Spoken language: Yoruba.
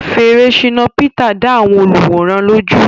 Fèrè Shina Peter dá àwọn olùwòran lójú.